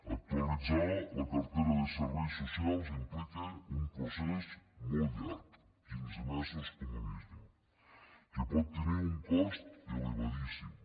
actualitzar la cartera de serveis socials implica un procés molt llarg quinze mesos com a mínim que pot tenir un cost elevadíssim